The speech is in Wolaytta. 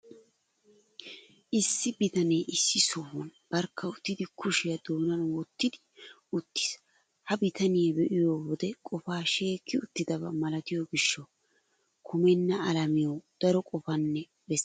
Issi bitanee issi sohuwan barkka uttidi kushiyaa doonan wottidi uttiis. Ha bitaniya be'iyo wode qofaa sheekki uttidaba malatiyo gishshawu, kumenna alamiyawu daro qoppana bessenna gays.